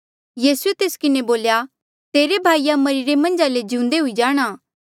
यीसूए तेस्सा किन्हें बोल्या तेरे भाईआ मरिरे मन्झ ले जिउंदे हुई जाणा